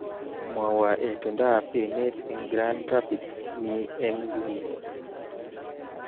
Mwowo itondoab emet eng Grand Rapids Mi eng nguni